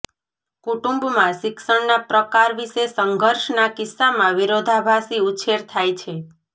કુટુંબમાં શિક્ષણના પ્રકાર વિશે સંઘર્ષના કિસ્સામાં વિરોધાભાસી ઉછેર થાય છે